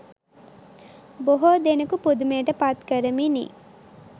බොහෝ දෙනකු පුදුමයට පත්කරමිනි.